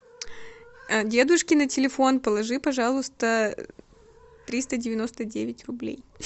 дедушке на телефон положи пожалуйста триста девяносто девять рублей